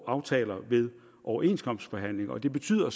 aftaler ved overenskomstforhandlingerne det betyder